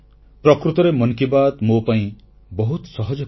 ପ୍ରକୃତରେ ମନ କି ବାତ୍ ମୋ ପାଇଁ ବହୁତ ସହଜ କାମ